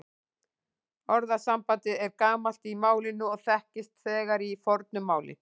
Orðasambandið er gamalt í málinu og þekkist þegar í fornu máli.